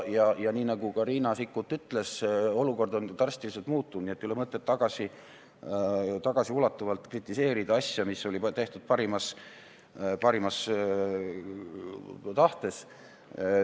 Ja nii nagu Riina Sikkut ütles, olukord on drastiliselt muutunud, nii et pole mõtet tagasiulatuvalt kritiseerida asja, mis oli tehtud parimas tahtes.